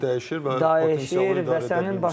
Yəni xarakter dəyişir və potensialı dəyişir.